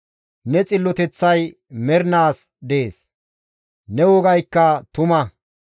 Ne xilloteththay mernaas dees; ne wogaykka tuma.